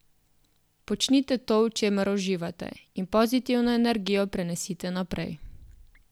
Počnite to, v čemer uživate, in pozitivno energijo prenesite naprej.